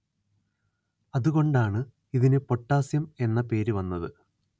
അതു കൊണ്ടാണ്‌ ഇതിന്‌ പൊട്ടാസ്യം എന്ന പേര്‌ വന്നത്